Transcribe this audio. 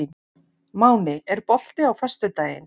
Máney, er bolti á föstudaginn?